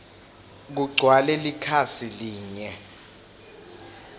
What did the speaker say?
kugcwale likhasi linye